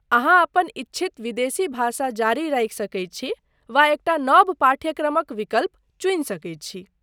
अहाँ अपन इच्छित विदेशी भाषा जारी राखि सकैत छी वा एकटा नव पाठ्यक्रमक विकल्प चुनि सकैत छी।